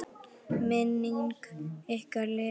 Minning ykkar lifir.